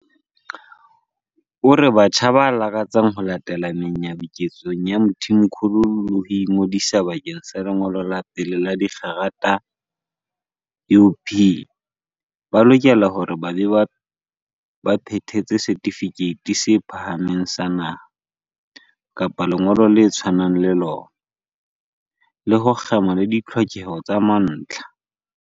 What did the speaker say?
O re batjha ba lakatsang ho latela menyabuketsong ya Mthimkhulu le ho ingodisa bakeng sa lengolo la pele la dikgerata UP ba lokela hore ba be ba phethetse Setifikeiti se Phahameng sa Naha, NSC, kapa lengolo le tshwanang le lona, le ho kgema le ditlhokeho tsa mantlha.